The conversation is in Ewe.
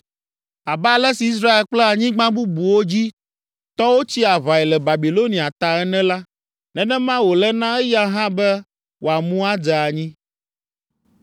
“Abe ale si Israel kple anyigba bubuwo dzi tɔwo tsi aʋae le Babilonia ta ene la, nenema wòle na eya hã be wòamu adze anyi.